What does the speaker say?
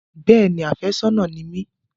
Bẹ́ẹ̀ni, àfẹ́sọ́nà ni mi